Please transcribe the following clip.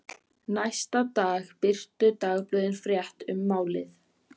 Næsta dag birtu dagblöðin frétt um málið.